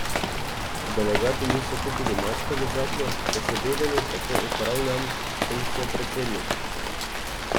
Delegati niso kupili mačka v žaklju, saj so vedeli, kako opravljam funkcijo predsednika.